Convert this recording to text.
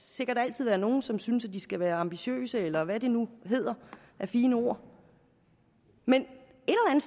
sikkert altid være nogle som synes at de skal være ambitiøse eller hvad det nu hedder af fine ord men